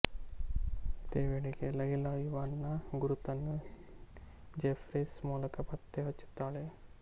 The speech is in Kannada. ಇದೇ ವೇಳೆಗೆ ಲೈಲಾ ಇವಾನ್ ನ ಗುರುತನ್ನು ಜೆಫ್ರೀಸ್ ಮೂಲಕ ಪತ್ತೆ ಹಚ್ಚುತ್ತಾಳೆ